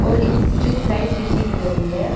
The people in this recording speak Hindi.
ऊपर एक स्ट्रीट लाइट भी दिख रही है।